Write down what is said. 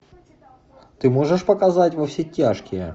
ты можешь показать во все тяжкие